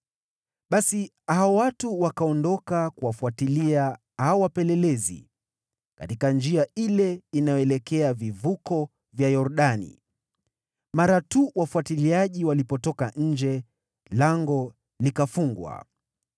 Basi hao watu wakaondoka kuwafuatilia hao wapelelezi katika njia ile inayoelekea vivuko vya Yordani, mara tu wafuatiliaji walipotoka nje, lango likafungwa.